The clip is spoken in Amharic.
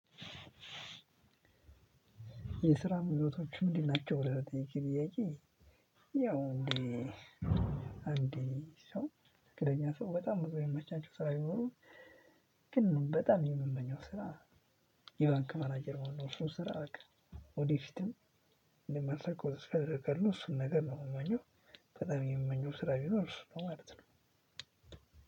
የስራ ምኞቶችህ ምንድናቸው? ብለህ ለጠየከኝ ጥያቄ ያው እንደ እንደ ሰው ትክክለኛ ሰው በጣም ብዙ የሚመቻቸው ስራ ቢኖሩም ግን በጣም የምመኘው ስራ። የባንክ ማናጀር መሆን ነው እሱን ስራ በቃ ወደፊትም እንደማሳከው ተስፋ አረጋለው እሱን ነገር ነው የምመኘው። በጣም የምመኘው ስራ ቢኖር እሱ ነው ማለት ነው።